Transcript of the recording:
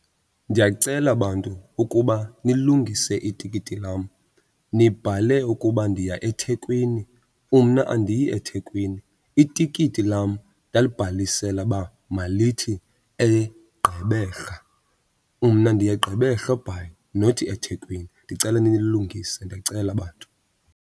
Ndiyacela bantu ukuba nilungise itikiti lam. Nibhale ukuba ndiya eThekwini, umna andiyi eThekwini, itikiti lam ndalibhalisela uba malithi eGqeberha. Mna ndiya eGqeberha eBhayi not eThekwini. Ndicela nililungise ndiyacela bantu.